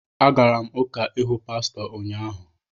Agara m Ụka ịhụ pastọ ụnyaahụ